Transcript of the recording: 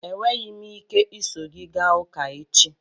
Enweghị m ike iso gị gaa ụka echi